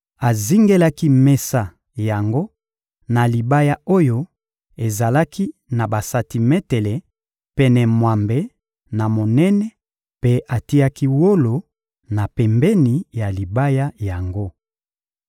Azingelaki mesa yango na libaya oyo ezalaki na basantimetele pene mwambe na monene mpe atiaki wolo na pembeni ya libaya yango.